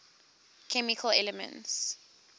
chemical elements